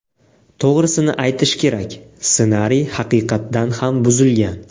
To‘g‘risini aytish kerak, ssenariy haqiqatdan ham buzilgan.